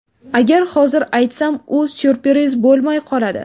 Agar hozir aytsam, u syurpriz bo‘lmay qoladi.